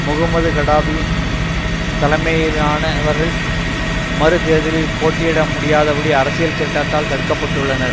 முகமது கடாமியின் தலைமையிலானவர்கள் மறு தேர்தலில் போட்டியிட முடியாதபடி அரசியல் சட்டத்தால் தடுக்கப்பட்டுள்ளனர்